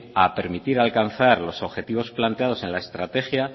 a permitir alcanzar los objetivos planteados en la estrategia